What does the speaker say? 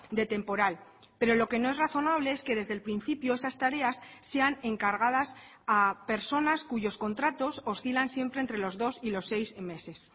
de temporal pero lo que no es razonable es que desde el principio esas tareas sean encargadas a personas cuyos contratos oscilan siempre entre los dos y los seis meses